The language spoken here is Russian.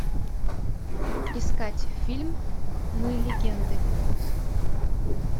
искать фильм мы легенды